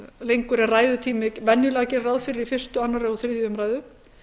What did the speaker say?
lengur en ræðutími venjulega gerir ráð fyrir í fyrsta annað og þriðju umræðu